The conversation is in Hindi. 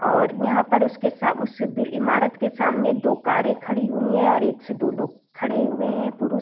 और यहाँ पर उसके साब उससे बिड ईमारत के सामने दो कारे खड़ीं हुई है और एक से दो लोग खड़े हुए है पुरुष।